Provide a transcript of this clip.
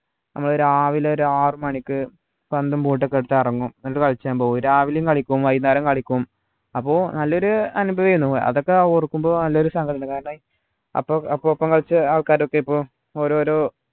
നമ്മള് രാവിലെ ഒരാറു മണിക്ക് പന്തും boat ഒക്കെ എടുത്ത് ഇറങ്ങും എന്നിട്ട് കളിച്ചാൻ പോകും രാവിലെം കളിക്കും വൈന്നേരവും കളിക്കും അപ്പൊ നല്ലൊരു അനുഭവേനു അതൊക്കെ ഓർക്കുമ്പോ നല്ലൊരു സങ്കടമുണ്ട് കാരണം അപ്പൊ അപ്പൊ ഒപ്പം കളിച്ച ആൾക്കാരൊക്കെ ഇപ്പൊ ഓരോരോ